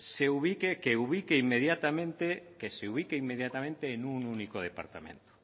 se ubique inmediatamente en un único departamento